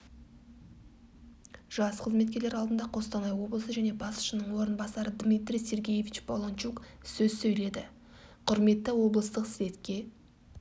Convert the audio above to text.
жас қызметкерлер алдында қостанай облысы және басшысының орынбасары дмитрий сергеевич полончук сөз сойледі құрметті облыстық слетке